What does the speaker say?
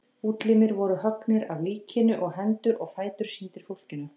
Útlimir voru höggnir af líkinu og hendur og fætur sýndir fólkinu.